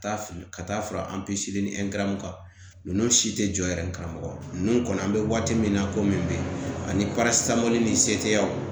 Taa fili ka taa fara an ni ngɛrɛw kan ninnu si tɛ jɔ yɛrɛ karamɔgɔ ninnu kɔni an bɛ waati min na komi bi ani ni se tɛ yan